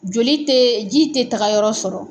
Joli tɛ ji tɛ tagayɔrɔ sɔrɔ.